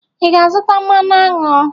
Ị ga-azụta mmanụ aṅụ?